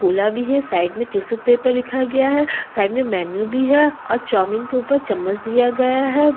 Cola भी है side में टिशू पेपर लिखा गया है साइड में मेनू भी है और चाऊमीन के ऊपर चम्मच दिया गया है।